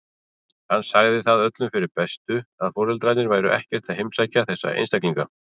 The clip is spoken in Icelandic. Hann sagði það öllum fyrir bestu að foreldrarnir væru ekkert að heimsækja þessa einstaklinga.